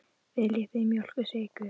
Viljið þið mjólk og sykur?